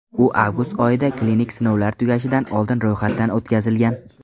U avgust oyida klinik sinovlar tugashidan oldin ro‘yxatdan o‘tkazilgan .